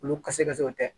Olu ka se ka tɛ